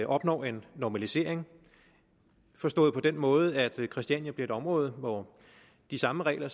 opnår en normalisering forstået på den måde at christiania bliver et område hvor de samme regler